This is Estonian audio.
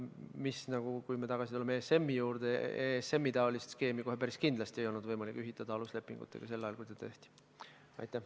Kui me tuleme tagasi ESM-i juurde, siis ESM-i-taolist skeemi kohe päris kindlasti ei olnud võimalik ühitada aluslepingutega sel ajal, kui ta tehti.